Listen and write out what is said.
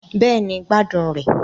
Bẹ́ẹ̀ni, gbádùn rẹ̀